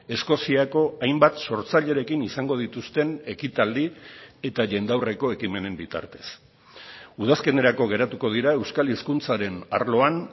eskoziako hainbat sortzailerekin izango dituzten ekitaldi eta jendaurreko ekimenen bitartez udazkenerako geratuko dira euskal hizkuntzaren arloan